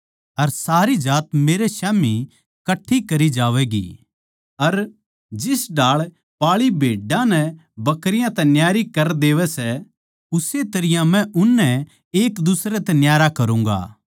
अर सारी जात मेरे स्याम्ही कट्ठी करी जावैगी अर जिस ढाळ पाळी भेड्डां नै बकरियाँ तै न्यारी कर देवै सै उस्से तरियां मै उननै एकदुसरे तै न्यारा करूँगा